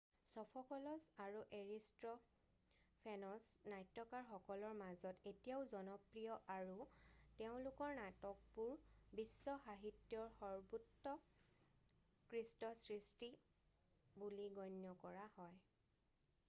Sophocles আৰু Aristophanes নাট্যকাৰসকলৰ মাজত এতিয়াও জনপ্ৰিয় আৰু তেওঁলোকৰ নাটকবোৰ বিশ্ব সাহিত্যৰ সৰ্বোৎকৃষ্ট সৃষ্টি বুলি গণ্য কৰা হয়